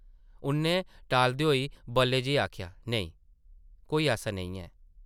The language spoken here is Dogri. उʼन्नै टालदे होई बल्लै जेही आखेआ , ‘‘नेईं, कोई ऐसा नेईं ऐ ।’’